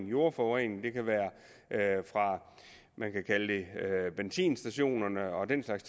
jordforurening det kan være fra benzinstationer og den slags